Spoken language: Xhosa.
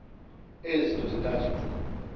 ezi zinto zintathu